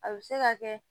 A bɛ se ka kɛ